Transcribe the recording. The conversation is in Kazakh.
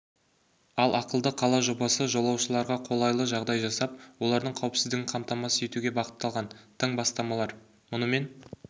ал ақылды қала жобасы жолаушыларға қолайлы жағдай жасап олардың қауіпсіздігін қамтамасыз етуге бағытталған тың бастамалар мұнымен